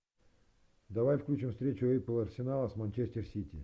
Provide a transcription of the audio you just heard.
давай включим встречу апл арсенала с манчестер сити